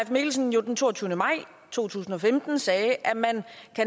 mikkelsen jo den toogtyvende maj to tusind og femten sagde at man